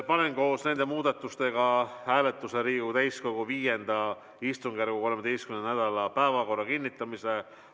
Panen koos nende muudatustega hääletusele Riigikogu täiskogu V istungjärgu 13. nädala päevakorra kinnitamise.